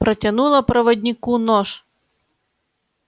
протянула проводнику нож